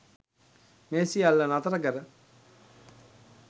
මේ සියල්ල නතර කර